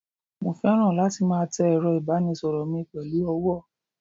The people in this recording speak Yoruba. mo feran latí ma té erò ibanísoro mí pelu ọwọ